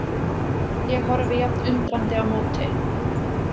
Ég horfi jafn undrandi á móti.